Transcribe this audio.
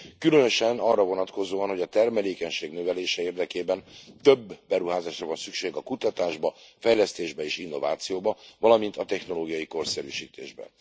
Különösen arra vonatkozóan, hogy a termelékenység növelése érdekében több beruházásra van szükség a kutatásba, a fejlesztésbe és az innovációba, valamint a technológiai korszerűsítésbe.